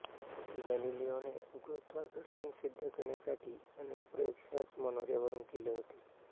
गॅलिलिओने गुरुत्वाकर्षण सिद्ध करण्यासाठी अनेक प्रयोग ह्याच मनोऱ्यावरून केले होते